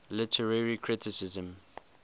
literary criticism